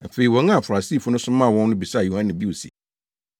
Afei wɔn a Farisifo no somaa wɔn no bisaa Yohane bio se,